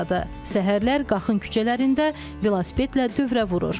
Səhərlər Qaxın küçələrində velosipedlə dövrə vurur.